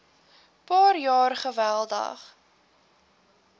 paar jaar geweldig